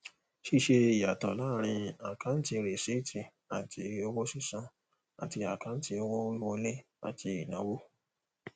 ṣíṣe ìyàtọ láàárín àkáǹtì rìsíìtì àti owó sísan àti àkáǹtì owó wiwọlé àti ìnáwó